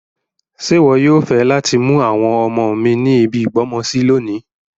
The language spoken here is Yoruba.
Ṣe wọ yoo fẹ lati mu àwọn ọmọ mi ni ibi ìgbọ́mọsi lonìí